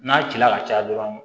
N'a cila ka caya dɔrɔn